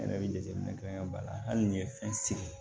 N yɛrɛ bɛ jateminɛ kɛ ba la hali n'i ye fɛn seri